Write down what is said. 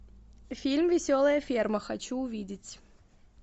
фильм веселая ферма хочу увидеть